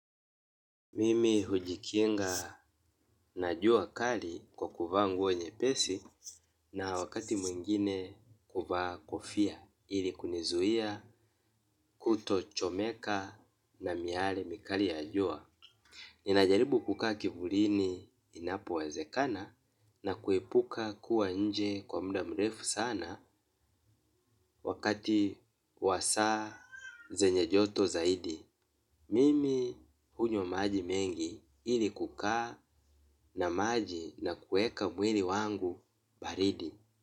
Mimi hujikinga na jua kali kwa kuvaa nguo nye pesi na wakati mwingine kuvaa kofia ili kunizuia kuto chomeka na miale mikali ya jua. Ninajaribu kukaa kivulini inapo wezekana na kuepuka kuwa nje kwa muda mrefu sana wakati wasaa zenye joto zaidi. Mimi unywa maji mengi ili kukaa na maji na kueka mwili wangu baridi.